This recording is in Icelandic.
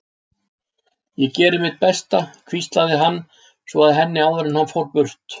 Ég geri mitt besta, hvíslaði hann svo að henni áður en hann fór burt.